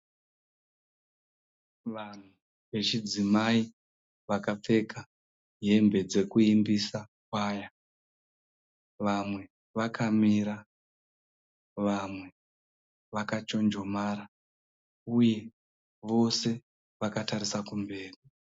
vanhu vechidzimai vakapfeka hembe dzekuimbisa choir, vamwe vakamira , vamwe vakachonjomara uye vose vakatarisa kumberi.